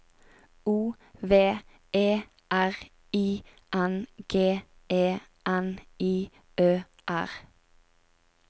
O V E R I N G E N I Ø R